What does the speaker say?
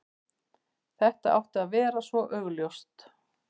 Þetta átti að vera svo augljóst.